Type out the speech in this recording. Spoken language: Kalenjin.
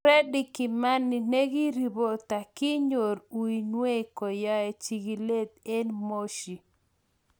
Fredy Kimani, negereporta , kinyor uinwechu koyae chigilet en Moshi